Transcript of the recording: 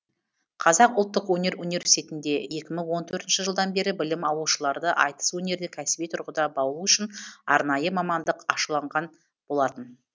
қазақ ұлттық өнер университетінде екі мың он төртінші жылдан бері білім алушыларды айтыс өнеріне кәсіби тұрғыда баулу үшін арнайы мамандық ашыланған болатын